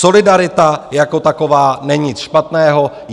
Solidarita jako taková není nic špatného.